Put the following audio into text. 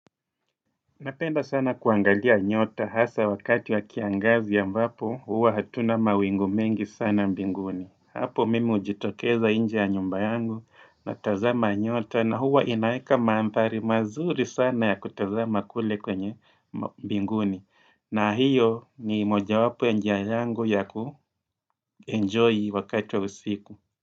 Napenda sana kuangalia nyota hasa wakati wa kiangazi ya ambapo, huwa hatuna mawingu mengi sana mbinguni. Hapo mimi hujitokeza nje ya nyumba yangu natazama nyota na huwa inaweka mandhari mazuri sana ya kutazama kule kwenye mbinguni. Na hiyo ni moja wapo ya njia yangu ya kuenjoy wakati wa usiku.